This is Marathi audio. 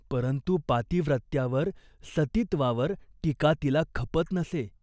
परंतु पातिव्रत्यावर, सतीत्वावर टीका तिला खपत नसे.